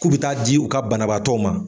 K'u bɛ taa di u ka banabaatɔ ma